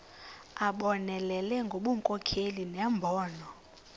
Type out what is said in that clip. abonelele ngobunkokheli nembono